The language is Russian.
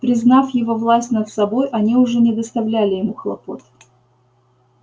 признав его власть над собой они уже не доставляли ему хлопот